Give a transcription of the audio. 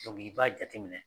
i b'a jate minɛ.